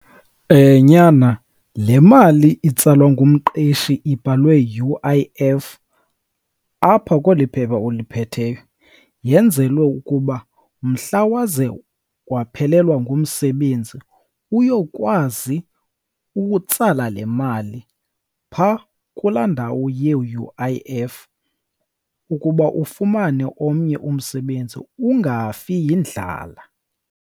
Nyana, le mali itsalwa ngumqeshi ibhalwe U_I_F apha kweli phepha uliphetheyo yenzelwe ukuba mhla waze waphelelwa ngumsebenzi uyokwazi utsala le mali phaa kula ndawo ye-U_I_F, ukuba ufumane omnye umsebenzi, ungafi yindlala.